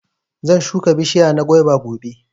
zan shuka bishiya na guava gobe.